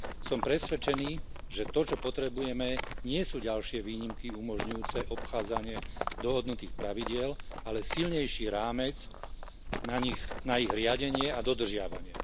Som presvedčený, že to, čo potrebujeme nie sú ďalšie výnimky umožňujúce obchádzania dohodnutých pravidiel, ale silnejší rámec na ne, na ich riadenie a dodržiavanie.